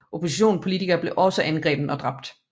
Oppositionspolitikere blev også angrebne og dræbt